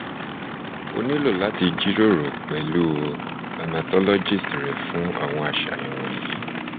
o nilo lati jiroro pẹlu hematologist re fun awọn aṣayan wọnyi